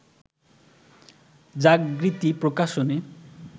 Jagriti Prakashani